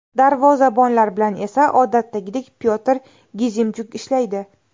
Darvozabonlar bilan esa odatdagidek Pyotr Gizimchuk ishlaydi.